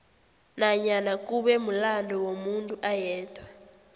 nanyana kube mulando womuntu ayedwa